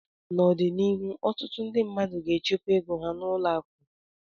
N'ọdịnihu ọtụtụ ndị mmadụ ga-echekwa ego ha n'ụlọ akụ